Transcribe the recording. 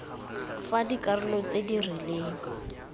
fa dikarolo tse di rileng